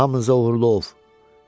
Hamınıza uğurlu ov.